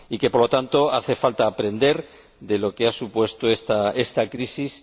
Por lo tanto, hace falta aprender de lo que ha supuesto esta crisis.